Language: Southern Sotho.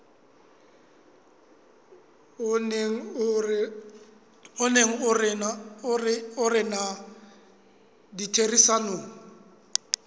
o neng o rena ditherisanong